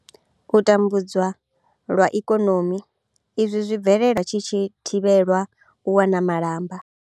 U tambudzwa lwa ikonomi izwi zwi bvelela tshi tshi thivhelwa u wana malamba.